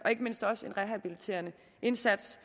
og ikke mindst rehabiliterende indsats